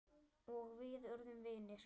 Og við urðum vinir.